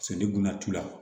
la